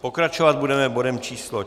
Pokračovat budeme bodem číslo